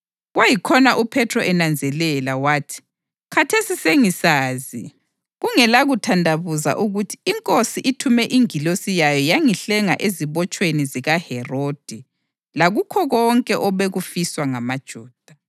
Kwayikhona uPhethro enanzelela, wathi, “Khathesi sengisazi kungelakuthandabuza ukuthi iNkosi ithume ingilosi yayo yangihlenga ezibotshweni zikaHerodi lakukho konke obekufiswa ngamaJuda.”